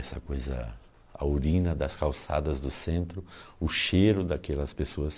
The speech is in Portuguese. Essa coisa, a urina das calçadas do centro, o cheiro daquelas pessoas...